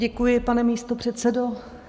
Děkuji, pane místopředsedo.